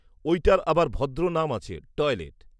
ঐটার আবার ভদ্র নাম আছে, টয়লেট